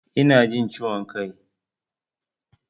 Ina jin ciwon kai.